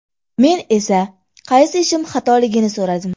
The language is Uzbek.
Men esa qaysi ishim xatoligini so‘radim.